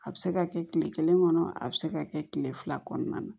A bɛ se ka kɛ kile kelen kɔnɔ a bɛ se ka kɛ kile fila kɔnɔna na